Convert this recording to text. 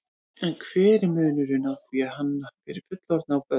En hver er munurinn á því að hanna fyrir fullorðna og börn?